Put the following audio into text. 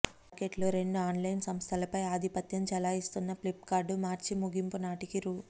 మార్కెట్లో రెండు ఆన్లైన్ సంస్థలపై ఆధిపత్యం చెలాయిస్తున్న ఫ్లిప్కార్ట్ మార్చి ముగింపునాటికి రూ